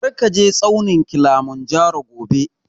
Kar ka je tsaunin Kilimanjaro gobe!